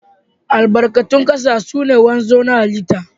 Albarkatun kasa suna wanzu ta hallita.